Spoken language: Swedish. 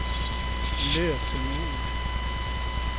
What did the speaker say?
lösenord